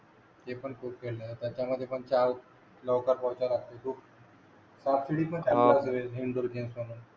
ते पण खूप खेळलो त्याच्या मधी पण चार साप सीडी पण चांगली राहते इंडोर गेम्स म्हणून